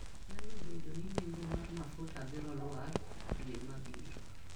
Nyalo bedo ni nengo mar mafuta biro lwar dwe mabiro.